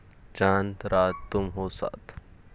चांद रात तुम हो साथ